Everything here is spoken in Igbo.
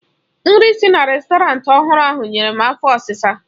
Nri si na rèstọrantị ọhụrụ ahụ nyere m afo ọsisa